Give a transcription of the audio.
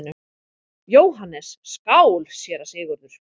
JÓHANNES: Skál, séra Sigurður!